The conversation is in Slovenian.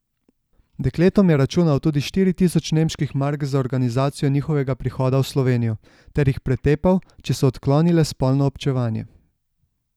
Dekletom je računal tudi štiri tisoč nemških mark za organizacijo njihovega prihoda v Slovenijo, ter jih pretepal, če so odklonile spolno občevanje.